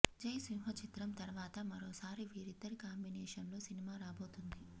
జైసింహా చిత్రం తర్వాత మరోసారి వీరిద్దరి కాంబినేషన్ లో సినిమా రాబోతోంది